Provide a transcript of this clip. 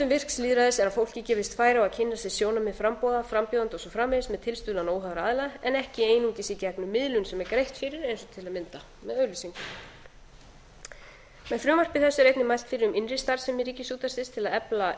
virks lýðræðis er að fólki gefist færi á að kynna sér sjónarmið framboða frambjóðenda og svo framvegis eð tilstuðlan ára aðila en ekki einungis sí gegnum miðlun sem er greitt fyrir eins og til að mynda með auglýsingum með frumvarpi þessu er einnig mælt fyrir innri starfsemi ríkisútvarpsins til að